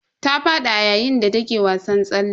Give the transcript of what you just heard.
Ta fadi a yayin da take wasan tsalle.